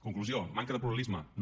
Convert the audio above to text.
conclusió manca de pluralisme no